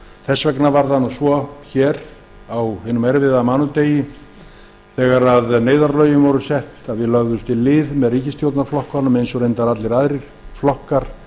þess vegna var það svo á hinum erfiða mánudegi þegar neyðarlögin voru sett að við lögðumst í lið með ríkisstjórnarflokkunum eins og reyndar allir aðrir flokkar